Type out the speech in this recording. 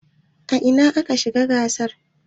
A ina aka yi gasar?